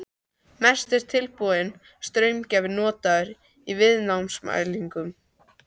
Mest er tilbúinn straumgjafi notaður í viðnámsmælingum.